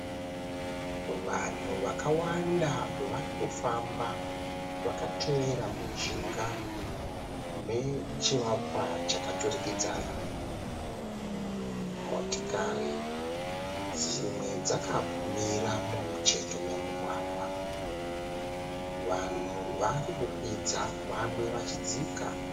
Vanhu vakawanda vari kufamba vakatevera mujinga mechivakwa chakaturikidzana. Motikari dzimwe dzakamira mumucheto memugwagwa. Vanhu vari vari kukwira vamwe vachidzika.